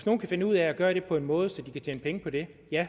nogen kan finde ud af at gøre det på en måde så de kan tjene penge på det